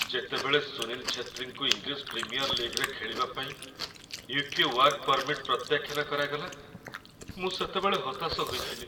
ଯେତେବେଳେ ସୁନୀଲ ଛେତ୍ରୀଙ୍କୁ English premier ଲିଗ୍‌ରେ ଖେଳିବା ପାଇଁ ୟୁ.କେ. ୱାର୍କ ପର୍ମିଟ୍ ପ୍ରତ୍ୟାଖ୍ୟାନ କରାଗଲା, ମୁଁ ସେତେବେଳେ ହତାଶ ହୋଇଥିଲି।